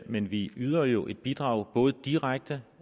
men vi yder jo et bidrag både direkte